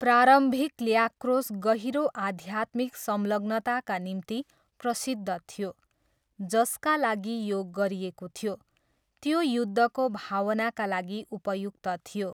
प्रारम्भिक ल्याक्रोस गहिरो आध्यात्मिक संलग्नताका निम्ति प्रसिद्ध थियो, जसका लागि यो गरिएको थियो, त्यो युद्धको भावनाका लागि उपयुक्त थियो।